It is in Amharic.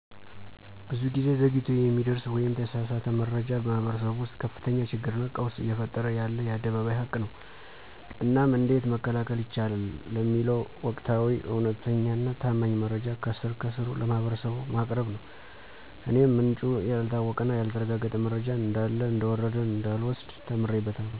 ብዙ ጊዜ ዘግይቶ የሚደረስ ወይም የተሳሳተ መረጃ በማህበረሰቡ ውስጥ ከፍተኛ ችግርና ቀውስ እየፈጠረ ያለ የአደባባይ ሀቅ ነው። እናም እንዴት መከላከል ይቻላል ለሚለው ወቅታዊ፣ እውነተኛና ታማኝ መረጃ ከስር ከስሩ ለማህበረሰቡ በማቅረብ ነው። እኔም ምንጩ ያልታወቀና ያልተረጋገጠ መረጃን እንዳለ እንደወረደ እንዳልወስድ ተምሬበታለሁ።